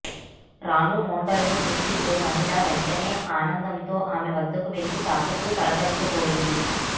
రాణు మోండల్ను చూసిన ఓ మహిళ వెంటనే ఆనందంతో ఆమె వద్దకు వెళ్లి తాకుతూ పలకరించబోయింది